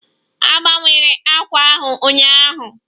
A gbanwere àkwà ahụ ụnyaahụ